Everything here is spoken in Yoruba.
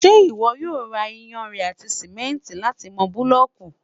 ṣé ìwọ yóò ra iyanrìn àti sìmẹ́ntì láti mọ búlọ̀kù?